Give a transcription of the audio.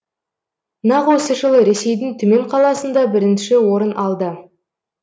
нақ осы жылы ресейдің түмен қаласында бірінші орын алды